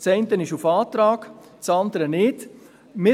beim einen ist es auf Antrag , beim anderen nicht (.